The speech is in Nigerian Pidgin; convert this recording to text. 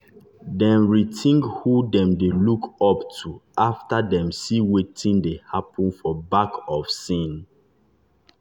dem rethink who dem dey look up to after dem see wetin dey happen for back of scene.